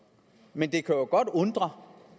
men det kan jo godt undre